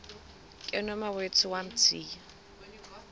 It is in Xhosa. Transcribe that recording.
ke nomawethu wamthiya